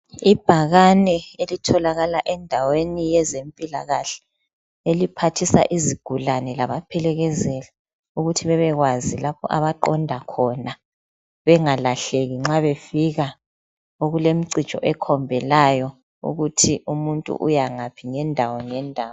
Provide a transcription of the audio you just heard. Ibhakane elitholakala endaweni yezempilakahle eliphathisa izigulane labaphelekezeli ukuthi bebekwazi lapha abaqonda khona bengalahleki nxa befika okulemcijo ekhombelayo ukuthi umuntu uyangaphi ngendawo ngendawo .